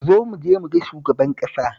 Zo mu je mu ga shugaban ƙasa